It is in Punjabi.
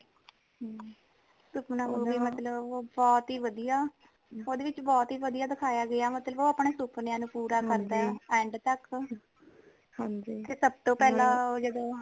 ਸੁਫਨਾ movie ਮਤਲਬ ਬਹੁਤ ਹੀ ਵਧੀਆ ਓਦੇ ਵਿਚ ਬਹੁਤ ਹੀ ਵਧੀਆ ਦਿਖਾਯਾ ਗਿਆ ਹੈ ਮਤਲਬ ਓ ਆਪਣੇ ਸੁਫਨਿਆਂ ਨੂ ਪੂਰਾ ਕਰਦਾ ਹੈ end ਤਕ ਤੇ ਸਬਤੋ ਪਹਿਲਾਂ ਓ ਜਦੋ